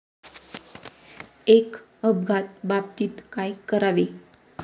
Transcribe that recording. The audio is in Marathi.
एक अपघात बाबतीत काय करावे?